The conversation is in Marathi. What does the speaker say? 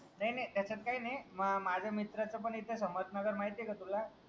नाई नाई त्याच्यात काही नाई म माझ्या मित्राच पन इथे समर्थ नगर माहितीय का तुला?